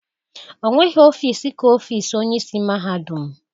Onweghi ofiisi ka ofiisi Onyeisi mahadum.